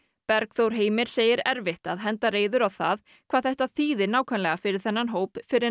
Bergþór Heimir segir erfitt að henda reiður á það hvað þetta þýði nákvæmlega fyrir þennan hóp fyrr en